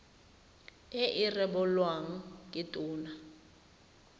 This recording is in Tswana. e e rebolwang ke tona